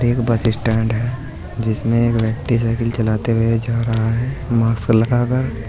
एक bus stand है जिसमें एक व्यक्ति साईकिल चलाते हुए जा रहा है मास्क लगा कर।